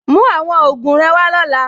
Mú àwọn ògùn rẹ wá lọ́la.